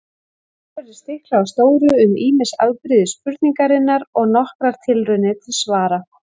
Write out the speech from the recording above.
Hér verður stiklað á stóru um ýmis afbrigði spurningarinnar og nokkrar tilraunir til svara.